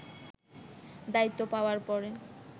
দায়িত্ব পাওয়ার পরে